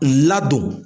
Ladon